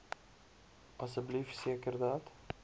asseblief seker dat